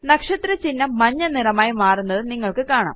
നക്ഷത്ര ചിഹ്നം മഞ്ഞ നിറമായി മാറുന്നത് നിങ്ങൾക്ക് കാണാം